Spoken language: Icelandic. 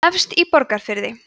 efst í borgarfirði